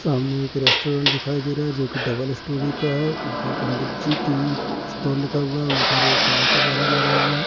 सामने एक रेस्टोरेंट दिखाई दे रहा है जो कि डबल स्टोरी का है ऊपर पंडित जी टी स्टाल लिखा हुआ है ऊपर एक गाय का बैनर लगा हुआ है।